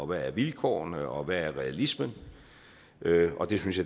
hvad vilkårene er og hvad realismen er og det synes